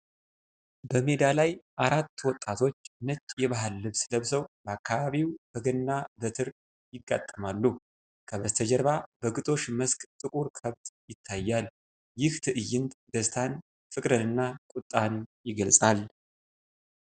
በሜዳ ላይ አራት ወጣቶች ነጭ የባህል ልብስ ለብሰው በአካባቢው በገና በትር ይጋጠማሉ። ከበስተጀርባ በግጦሽ መስክ ጥቁር ከብት ይታያል። ይህ ትዕይንት ደስታን፣ ፍቅርንና ቁጣን ይገልጻል።